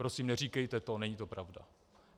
Prosím, neříkejte to, není to pravda.